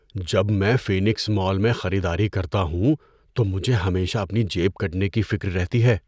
جب میں Phoenix mall میں خریداری کرتا ہوں تو مجھے ہمیشہ اپنی جیب کٹنے کی فکر رہتی ہے۔